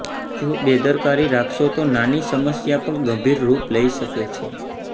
જો બેદરકારી રાખશો તો નાની સમસ્યા પણ ગંભીર રૂપ લઈ શકે છે